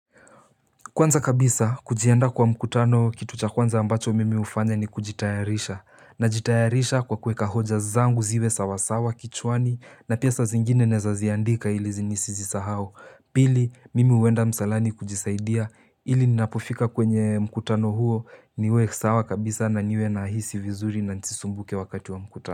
Kwanza kabisa kujiandaa kwa mkutano kitu cha kwanza ambacho mimi ufanya ni kujitayarisha. Najitayarisha kwa kuweka hoja zangu ziwe sawasawa kichwani na pia saa zingine naweza ziandika ili zinisizi sahau. Pili, mimi uenda msalani kujisaidia ili ninapofika kwenye mkutano huo niwe sawa kabisa na niwe nahisi vizuri na nisisumbuke wakati wa mkutano.